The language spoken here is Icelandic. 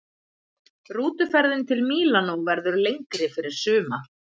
Rútuferðin til Mílanó verður lengri fyrir suma.